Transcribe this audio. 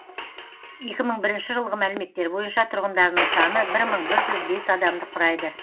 екі мың бірінші жылғы мәліметтер бойынша тұрғындарының саны бір мың бір жүз бес адамды құрайды